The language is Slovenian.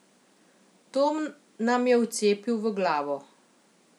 To nam je vcepil v glavo.